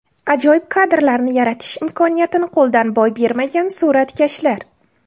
Ajoyib kadrlarni yaratish imkoniyatini qo‘ldan boy bermagan suratkashlar .